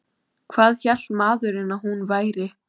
Hvað hélt maðurinn að hún væri?